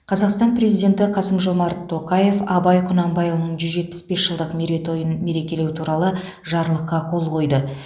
қазақстан президенті қасым жомарт тоқаев абай құнанбайұлының жүз жетпіс бес жылдық мерейтойын мерекелеу туралы жарлыққа қол қойды